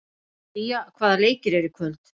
Sía, hvaða leikir eru í kvöld?